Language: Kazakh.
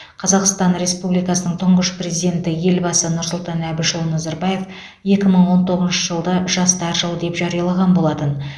қазақстан республикасының тұңғыш президенті елбасы нұрсұлтан әбішұлы назарбаев екі мың он тоғызыншы жылды жастар жылы деп жариялаған болатын